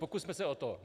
Pokusme se o to.